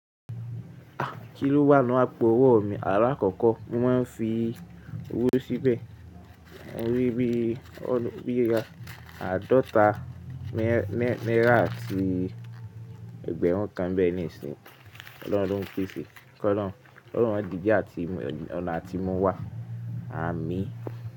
Kí ló wá nù àpo owó mi? Alákọ̀kọ́ mo máa ń fi owó síbẹ̀. Mo rí bí o--, bí àádọ́ta naira àti ẹgbẹ̀rún kan n bẹ́ẹ̀ ní ìsìn. Ọlọ́run lo n pèsè. Ọlọ́run máa dì bi àti-- ọ̀nà tí mu wà. Àmín.